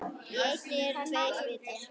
Á eynni eru tveir vitar.